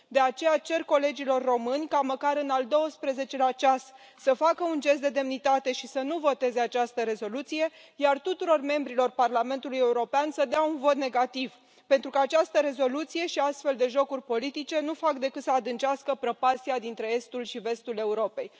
De aceea, cer colegilor români ca măcar în al doisprezecelea ceas să facă un gest de demnitate și să nu voteze această rezoluție, iar tuturor membrilor Parlamentului European să dea un vot negativ, pentru că această rezoluție și astfel de jocuri politice nu fac decât să adâncească prăpastia dintre estul și vestul Europei.